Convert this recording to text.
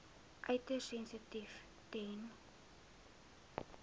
uiters sensitief ten